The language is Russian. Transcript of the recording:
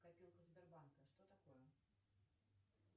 копилка сбербанка что такое